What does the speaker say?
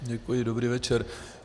Děkuji, dobrý večer.